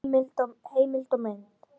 Heimild og mynd